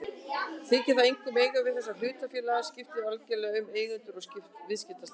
Þykir það einkum eiga við þegar hlutafélag skiptir algjörlega um eigendur og viðskiptastefnu.